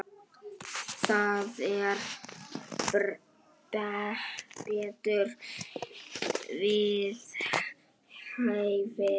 Það var betur við hæfi.